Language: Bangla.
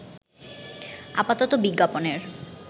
আপাতত বিজ্ঞাপনের